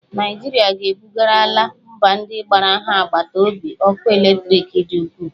Naijirịa e bugarala mba ndị gbara ha agbata obi ọkụ eletriki dị ukwuu